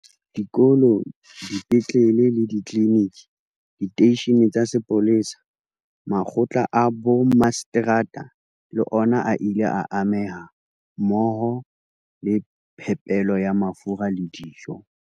Dikolo, dipetlele le ditliliniki, diteishene tsa sepolesa, makgotla a bommaseterata le ona a ile a ameha, mmoho le phepelo ya mafura le dijo.